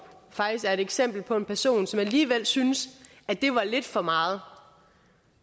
faktisk er et eksempel på en person som alligevel synes at det var lidt for meget